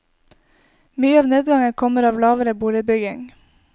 Mye av nedgangen kommer av lavere boligbygging.